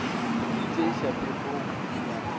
di tšeiša phefo di na